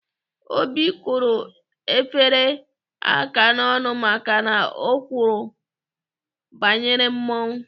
Obi kụrụ Ebere aka n'ọnụ maka na o kwuru banyere mmọnwụ.